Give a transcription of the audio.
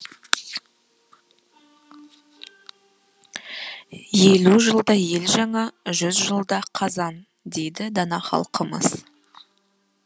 елу жылда ел жаңа жүз жылда қазан дейді дана халқымыз